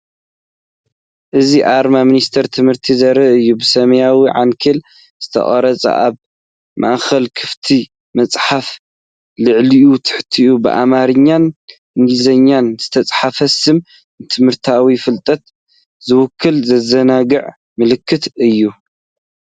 እዚ ኣርማ ሚኒስትሪ ትምህርቲ ዘርኢ እዩ። ብሰማያዊ ዓንኬል ዝተቐርጸ፡ ኣብ ማእከሉ ክፉት መጽሓፍ፡ ላዕልን ታሕትን ብኣምሓርኛን እንግሊዝኛን ዝተጻሕፈ ስም። ንትምህርታዊ ፍልጠት ዝውክል ዘዘናግዕ ምልክት እዩ።